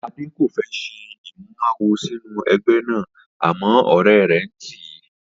Adé kò fé̩ s̩e ìmúmawo sínú e̩gbé̩ náà àmó̩ ò̩ré̩ rè̩ ń tìí